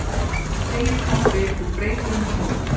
segir pabbi og breytir um tón.